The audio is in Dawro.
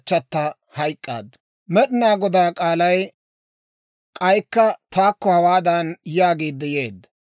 Med'inaa Godaa k'aalay k'aykka taakko hawaadan yaagiidde yeedda;